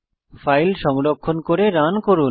file সংরক্ষণ করে run করুন